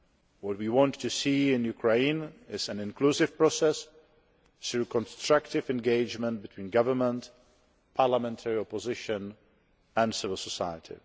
What we want to see in Ukraine is an inclusive process, through constructive engagement between government, parliamentary opposition and civil society.